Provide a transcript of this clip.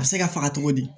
A bɛ se ka faga cogo di